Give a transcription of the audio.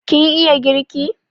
Kin iya girki?